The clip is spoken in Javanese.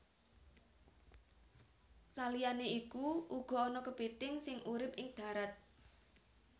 Saliyané iku uga ana kepithing sing urip ing dharat